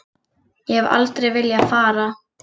Ég hef aldrei viljað fara.